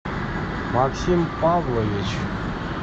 максим павлович